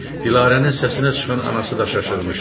Dilarənin səsinə çıxan anası da şaşırmışdı.